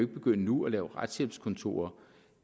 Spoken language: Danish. begynde nu at lave retshjælpskontorer